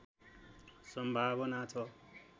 सम्भावना छ